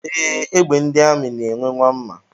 Ee, egbe ndị amị na-enwe nwa mma.